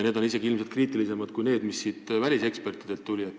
Need on ilmselt isegi kriitilisemad kui need, mis välisekspertidelt on tulnud.